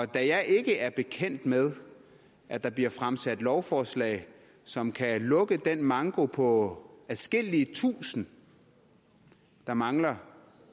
da jeg ikke er bekendt med at der bliver fremsat lovforslag som kan lukke den manko på adskillige tusinde der mangler